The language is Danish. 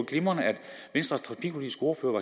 glimrende at venstres trafikpolitiske ordfører